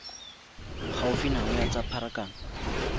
gaufi nao ya tsa pharakano